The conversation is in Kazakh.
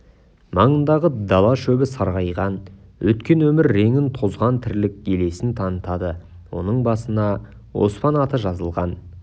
маңындағы дала шөбі сарғайған өткен өмір реңін тозған тірлік елесін танытады оның басына оспан аты жазылған